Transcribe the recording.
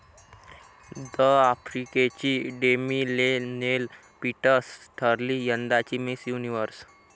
द.आफ्रिकेची Demi Leigh Nel Peters ठरली यंदाची Miss universe